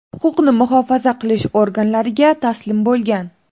huquqni muhofaza qilish organlariga taslim bo‘lgan.